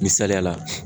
Misaliyala